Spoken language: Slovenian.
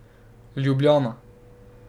Ljubljana.